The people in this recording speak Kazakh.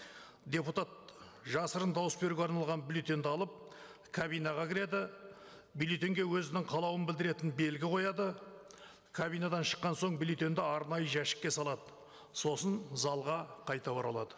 депутат жасырын дауыс беруге арналған бюллетеньді алып кабинаға кіреді бюллетеньге өзінің қалауын білдіретін белгі қояды кабинадан шыққан соң бюллетеньді арнайы жәшікке салады сосын залға қайта оралады